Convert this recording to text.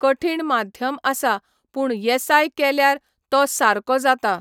कठिण माध्यम आसा, पूण येसाय केल्यार तो सारको जाता.